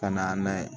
Ka na n'a ye